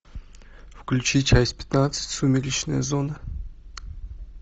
включи часть пятнадцать сумеречная зона